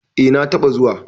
eh na taba zuwa